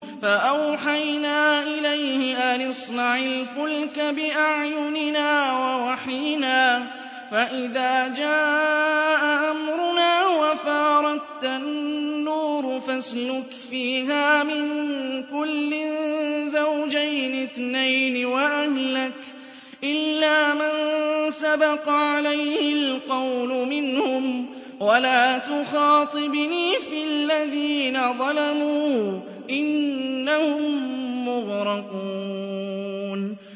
فَأَوْحَيْنَا إِلَيْهِ أَنِ اصْنَعِ الْفُلْكَ بِأَعْيُنِنَا وَوَحْيِنَا فَإِذَا جَاءَ أَمْرُنَا وَفَارَ التَّنُّورُ ۙ فَاسْلُكْ فِيهَا مِن كُلٍّ زَوْجَيْنِ اثْنَيْنِ وَأَهْلَكَ إِلَّا مَن سَبَقَ عَلَيْهِ الْقَوْلُ مِنْهُمْ ۖ وَلَا تُخَاطِبْنِي فِي الَّذِينَ ظَلَمُوا ۖ إِنَّهُم مُّغْرَقُونَ